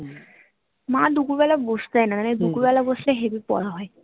মা দুপুর বেলা বসতে দেয় না নাহলে দুপুর বেলা বসলে heavy পড়া হয়